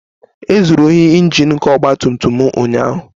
. E zuru ohi Injin nke ọgba tum tum m ụnyaahụ